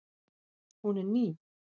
Hún er ný.